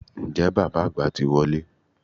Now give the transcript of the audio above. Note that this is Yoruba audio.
Ǹjẹ́ bàbá àgbà ti wọlé?